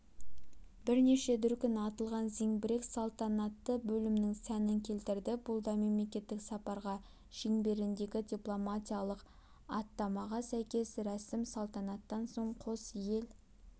бірнеше дүркін атылған зеңбірек салтанатты бөлімнің сәнін келтірді бұл да мемлекеттік сапар шеңберіндегі дипломатиялық іаттамаға сәйкес рәсім салтанаттан соң қос ел